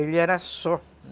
Ele era só.